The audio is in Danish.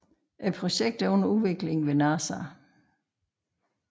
Projektet er under udvikling ved NASA